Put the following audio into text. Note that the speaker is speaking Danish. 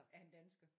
Er han dansker